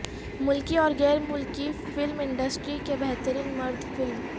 ملکی اور غیر ملکی فلم انڈسٹری کے بہترین مرد فلم